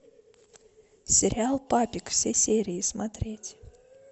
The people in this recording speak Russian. сериал папик все серии смотреть